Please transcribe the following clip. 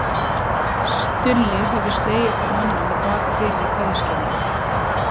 Stulli höfðu slegið hvor annan í bak og fyrir í kveðjuskyni.